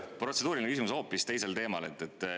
Protseduuriline küsimus on hoopis teisel teemal.